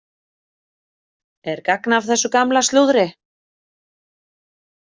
Er gagn af þessu gamla slúðri?